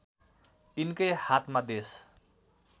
यिनकै हातमा देश